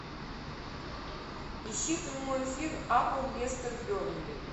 ищи прямой эфир апл лестер бернли